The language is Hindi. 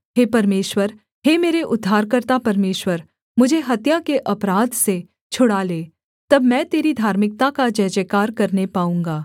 हे परमेश्वर हे मेरे उद्धारकर्ता परमेश्वर मुझे हत्या के अपराध से छुड़ा ले तब मैं तेरी धार्मिकता का जयजयकार करने पाऊँगा